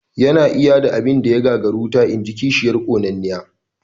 "Ya na iya da abin da ya gagari wuta?", inji kishiyar ƙonanniya